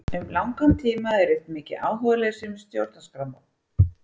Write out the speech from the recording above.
Um langan tíma hafði ríkt mikið áhugaleysi um Stjórnarskrármálið.